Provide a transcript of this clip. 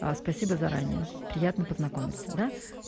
аа спасибо заранее приятно познакомиться да